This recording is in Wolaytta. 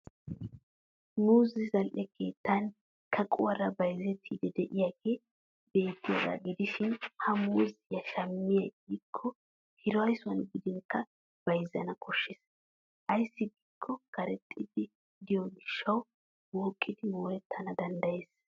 Muuzzee zal'e keettan kaquwaara bayzzettiidi de'iyaagee beettiyaagaa gidishin ha muuzziya shammiya xayikko hiraysuwan gidinkka bayzzana koshshes. Ayssi giikko karexxidi de'iyoo gishshawu wooqqidi moorettana danddayes.